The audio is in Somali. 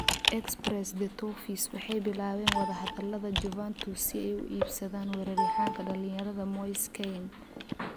(Express) The Toffees waxay bilaabeen wadahadalada Juventus si ay u iibsadaan weeraryahanka dhalinyarada Moise Kean.